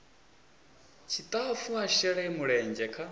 tshitafu a shele mulenzhe kha